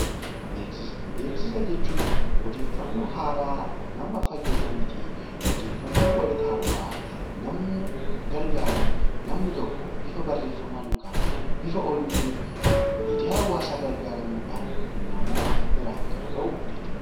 Beeksisa jechuun odeeffannoo haaraa nama fayyadanii fi odeeffannoo wayitawaa nama gargaaran namni tokko bifa barreeffamaan yookaan bifa oduutiin miidiyaa hawaasaa gargaaramuudhan kan nama biraan gahu jechuudha.